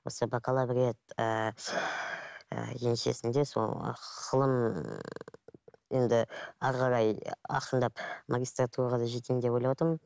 осы бакалавриат ыыы еншісінде сол ғылым енді әрі қарай ақырындап магистратураға да жетейін деп ойлап отырмын